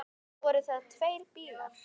Voru það tveir bílar.